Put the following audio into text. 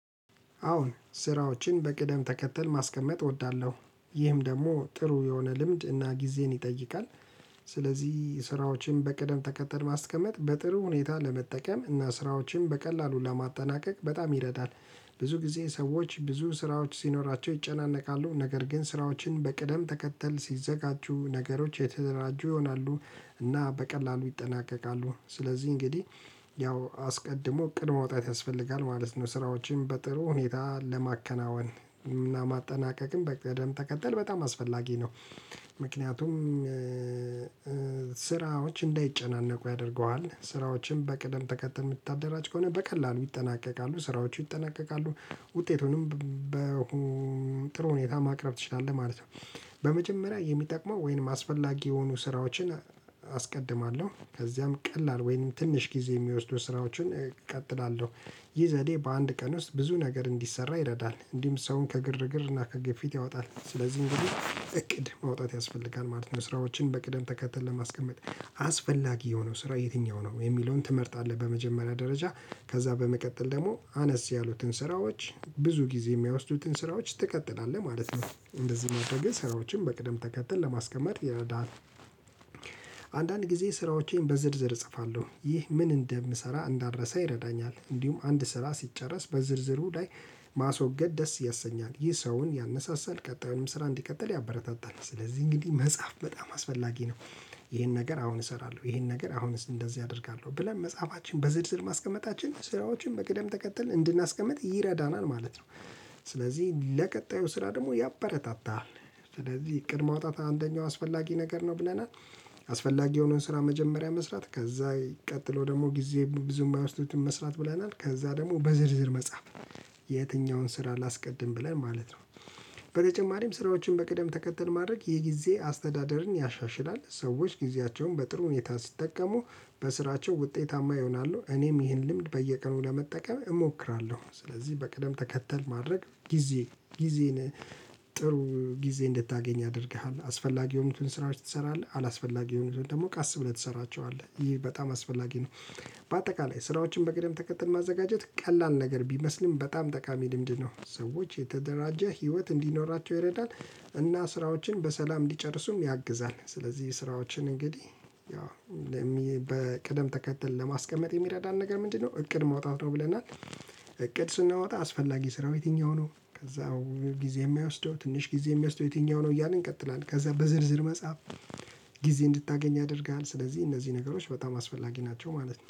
አዎን ስራዎችን በቅደም ተከተል ማስቀመጥ እወዳለሁ ይህም ደግሞ ጥሩ የሆነ ልምድ እና ጊዜን ይጠይቃል። ስለዚህ ስራዎችን በቅደም ተከተል ማስቀመጥ በጥሩ ሁኔታ ለመጠቀም እና ስራዎችን በቀላሉ ለማጠናቀቅ በጣም ይረዳል። ብዙ ጊዜ ሰዎች ብዙ ስራዎች ሲኖራቸው ይጨናነቃሉ ነገር ግን ስራዎችን በቅደም ተከተል ሲዘጋጁ ነገሮች የተደራጁ ይሆናሉ። እና በቀላሉ ይጠናቀቃሉ ስለዚህ እንግዲህ ያው አስቀድሞ እቅድ ማውጣት ያስፈልጋል ማለት ነው። ስራዎችን በጥሩ ሁኔታ ለማከናወን እና ማጠናቀቅም በቅደም ተከተል በጣም አስፈላጊ ነው። ምክንያቱም ስራዎች እንዳይጨናነቁ ያደርገዋል ስራዎችን በቅደም ተከተል የምታደራጅ ከሆነ በቀላሉ ይጠናቀቃሉ ስራዎቹ ይጠናቀቃሉ ውጤቱንም በሆነ ጥሩ ሁኔታ ማቅረብ ትችላለህ ማለት ነው። በመጀመሪያ የሚጠቅመው ወይንም አስፈላጊ የሆኑ ስራዎችን አስቀድማለሁ ከዚያም ቀላል ወይም ትንሽ ጊዜ የሚወስዱ ስራዎችን እቀጥላለሁ። ይህ ዘዴ በአንድ ቀን ውስጥ ብዙ ነገር እንዲሰራ ይረዳል እንዲሁም ሰውን ከግርግር እና ከግፊት ያወጣል። ስለዚህ እንግዲህ እቅድ ማውጣት ያስፈልጋል ማለት ነው። ስራዎችን በቅደም ተከተል ለማስቀመጥ አስፈላጊ የሆነው ስራ የትኛው ነው የሚለውን ትመርጣለህ። በመጀመሪያ ደረጃ ከዛ በመቀጠል ደግሞ አነስ ያሉትን ስራዎች ብዙ ጊዜ የማይወስዱትን ስራዎች ትቀጥላለህ ማለት ነው። እንደዚህ ማድረግህ ስራዎችን በቅደም ተከተል ለማስቀመጥ ይረዳሀል። አንዳንድ ጊዜ ስራዎቼን በዝርዝር እጽፋለሁ ይህ ምን እንደምሰራ እንዳልረሳ ይረዳኛል። እንዲሁም አንድ ስራ ሲጨረስ በዝርዝሩ ላይ ማስወገድ ደስ ያሰኛል ይህ ሰውን ያነሳሳል ቀጣዩንም ስራ እንዲቀጥል ያበረታታል። ስለዚህ እንግዲህ መጽሐፍ በጣም አስፈላጊ ነው። ይሄን ነገር አሁን እሰራለሁ ይሄን ነገር አሁንስ እንደዚህ አደርጋለሁ ብለን መጽሐፋችን በዝርዝር ማስቀመጣችን ስራዎችን በቅደም ተከተል እንድናስቀምጥ ይረዳናል ማለት ነው። ስለዚህ ለቀጣዩ ስራ ደግሞ ያበረታታል። ስለዚህ እቅድ ማውጣት አንደኛው አስፈላጊ ነገር ነው ብለናል። አስፈላጊ የሆነውን ስራ መጀመሪያ መስራት ከዛ ቀጥሎ ደግሞ ጊዜ ብዙም የማይወስዱትን መስራት ብለናል ከዛ ደግሞ በዝርዝር መጻፍ። የትኛውን ስራ ላስቀድም ብለን ማለት ነው። በተጨማሪም ስራዎችን በቅደም ተከተል ማድረግ የጊዜ አስተዳደርን ያሻሽላል። ሰዎች ጊዜያቸውን በጥሩ ሁኔታ ሲጠቀሙ በስራቸው ውጤታማ ይሆናሉ እኔም ይህን ልምድ በየቀኑ ለመጠቀም እሞክራለሁ። ስለዚህ በቅደም ተከተል ማድረግ ጊዜ ጊዜን ጥሩ ጊዜ እንድታገኝ ያደርግሃል። አስፈላጊ የሆኑትን ስራዎች ትሰራለህ አላስፈላጊ የሆኑትን ደግሞ ቃስ ብለህ ትሰራቸዋለህ ይህ በጣም አስፈላጊ ነው። በአጠቃላይ ስራዎችን በቅደም ተከትል ማዘጋጀት ቀላል ነገር ቢመስልም በጣም ጠቃሚ ልምድ ነው ሰዎች የተደራጀ ህይወት እንዲኖራቸው ይረዳል። እና ስራዎችን በሰላም እንዲጨርሱም ያግዛል። ስለዚህ ስራዎችን እንግዲህ ያው በቅደም ተከተል ለማስቀመጥ የሚረዳን ነገር ምንድነው እቅድ ማውጣት ነው ብለናል። እቅድ ስናወጣ አስፈላጊ ስራው የትኛው ነው ከዛ ጊዜ የማይወስደው ትንሽ ጊዜ የሚወስደው የትኛው ነው እያልን እንቀጥላለን ከዛ በዝርዝር መጻፍ። ጊዜ እንድታገኝ ያደርግሃል ስለዚህ እነዚህ ነገሮች በጣም አስፈላጊ ናቸው ማለት ነው